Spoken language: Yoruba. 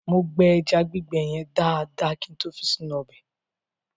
Mo gbẹ ẹja gbígbẹ yẹn dáadáa kin tó fi sínú ọbẹ̀.